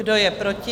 Kdo je proti?